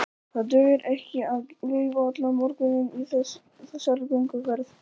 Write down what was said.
Það dugir ekki að gaufa allan morguninn í þessari gönguferð.